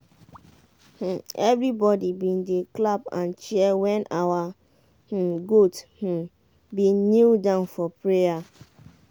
um everybody been dey clap and cheer when our um goat um been kneel down for prayer.